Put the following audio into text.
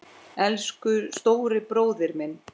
Elsku stóri bróðir minn.